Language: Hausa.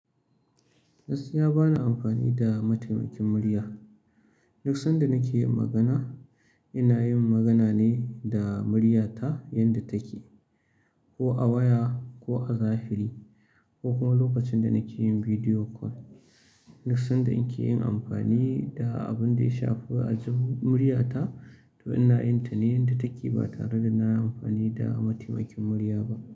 Gaskiya bana amfani da mataimakin murya. Duk sanda nake yin magana, ina yin magana ne da murya ta yanda take, ko a waya ko a zahiri ko kuma lokacin da nake yin video call. Duk sanda na ke yin amfani da abin da ya shafi ajin murya ta, to ina yin ta ne yanda take ba tare da na amfani da mataimakin murya ba.